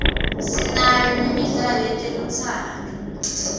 sinayo nemidlalo yetelutsando